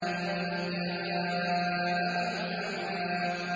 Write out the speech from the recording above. أَن جَاءَهُ الْأَعْمَىٰ